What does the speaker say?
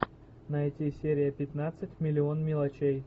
найти серия пятнадцать миллион мелочей